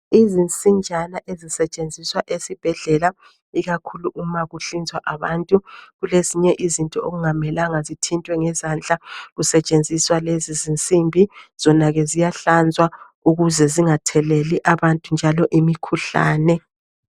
Izinsinjana ezisetshenziswa esibhedlela, ikakhulu uma kuhlinzwa abantu. Kulezinye izinto okungamelanga zithintwe ngezandla, kusetshenziswa lezi zinsimbi. Zona ke ziyahlanzwa ukuze zingatheleli abantu njalo imikhuhlane.